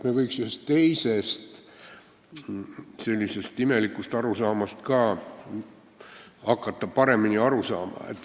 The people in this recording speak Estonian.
Me võiksime ühest teisest imelikust arusaamast ka hakata paremini aru saama.